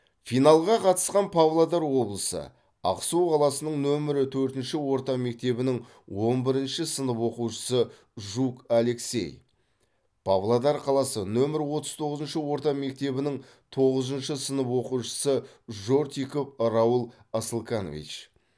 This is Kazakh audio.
финалға қатысқан павлодар облысы ақсу қаласының нөмірі төртінші орта мектебінің он бірінші сынып оқушысы жук алексей павлодар қаласы нөмірі отыз тоғызыншы орта мектебінің тоғызыншы сынып оқушысы жортиков раул асылканович